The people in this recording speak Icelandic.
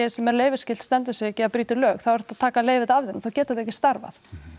sem er leyfisskylt stendur sig ekki eða brýtur lög þá er hægt að taka leyfið af þeim þá geta þau ekki starfað